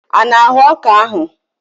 Ị na-ahụ ọka ahụ?